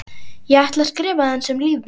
Ég ætla að skrifa aðeins um líf mitt.